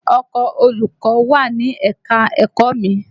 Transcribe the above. Ọkọ̀ olùkọ́ wà ni ẹ̀ka-ẹ̀kọ́ mi